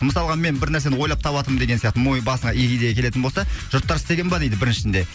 мысалға мен бір нәрсені ойлап деген сияқты басына идея келетін болса жұрттар істеген ба дейді біріншісінде